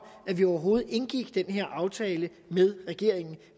at vi overhovedet indgik den her aftale med regeringen